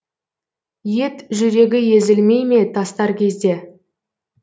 ет жүрегі езілмей ме тастар кезде